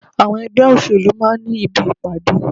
Àwọn ẹgbẹ́ òṣèlú máa ń ní ibi ìpàdé.